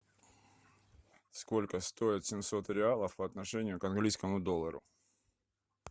сколько стоит семьсот реалов по отношению к английскому доллару